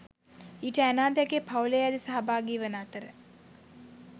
ඊට ඇනා ද ඇගේ පවුලේ අය ද සහභාගී වන අතර